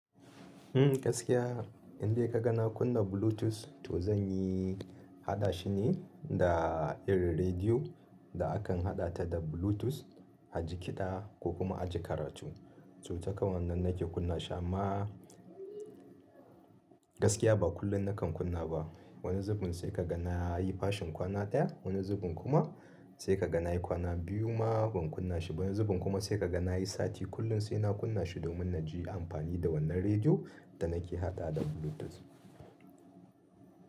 Hmm, gaskiya in dai kaga na kunna blutus to zanyi haɗa shi ne da irin radio, da akan haɗa ta da blutus a ji kiɗa ko kuma aji karatu. To takan wannan nake kunna shi amma gaskiya ba kullum na kan kunna ba. Wani zubin sai ka ga na yi fashin kwana ɗaya, wani zubin kuma sai ka ga na yi kwana biyu ma ban kunna shi ba, wani zubin kuma sai ka ga na yi sati kullum sai na kunna shi domin na ji amfani da wannan rediyo da na ke haɗa da Bluetooth.